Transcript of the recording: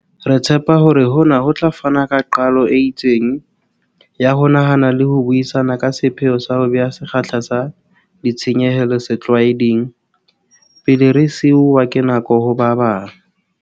Re tshepa hore hona ho tla fana ka qalo e itseng, ya ho nahana le ho buisana ka sepheo sa ho beha sekgahla sa ditshenyehelo 'setlwaeding' pele re siuwa ke nako ho ba bang.